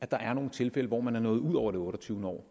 der er nogle tilfælde hvor man er nået ud over det otteogtyvende år